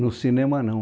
No cinema, não.